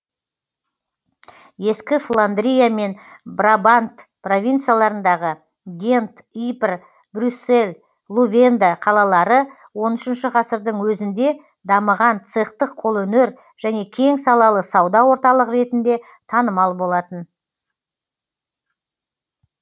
ескі фландрия және брабант провинцияларындағы гент ипр брюссель лувенде қалалары он үшінші ғасырдың өзінде дамыған цехтық қолөнер және кең салалы сауда орталығы ретінде танымал болатын